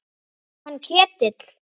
Hann Ketil?